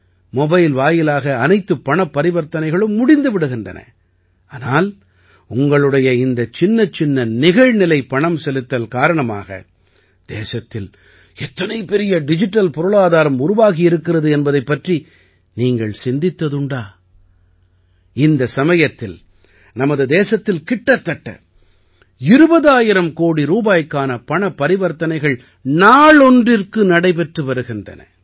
mobile வாயிலாகவே அனைத்துப் பணப் பரிவர்த்தனைகளும் முடிந்து விடுகின்றன ஆனால் உங்களுடைய இந்தச் சின்னச்சின்ன நிகழ்நிலை பணம் செலுத்தல் காரணமாக தேசத்தில் எத்தனை பெரிய டிஜிட்டல் பொருளாதாரம் உருவாகி இருக்கிறது என்பதைப் பற்றி நீங்கள் சிந்தித்ததுண்டா இந்த சமயத்தில் நமது தேசத்தில் கிட்டத்தட்ட 20000 கோடி ரூபாய்க்கான பணப்பரிவர்த்தனைகள் நாளொன்றிற்கு நடைபெற்று வருகின்றன